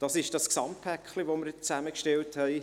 Das ist das Gesamtpaket, das wir zusammengestellt haben.